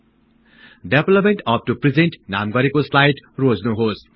development up to present नाम गरेको slide रोज्नुहोस्